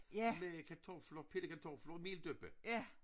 Med kartofler pillekartofler og meldøppa